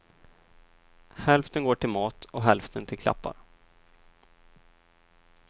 Hälften går till mat och hälften till klappar.